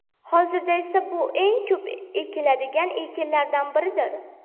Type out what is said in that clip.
Hozirda esa bu eng ko‘p ekiladigan ekinlardan biridir.